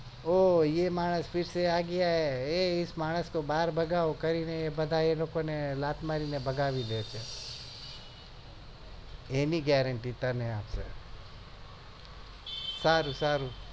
ઓં યે માનસ ફિરસે અ ગયા એ ઇસ માનસ કો બાર ભગવો એવું કેવા બધા લોકો લાત મારી ને ભગાડી દેશે એની gerenty તને આપે